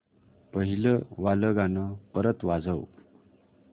पहिलं वालं गाणं परत वाजव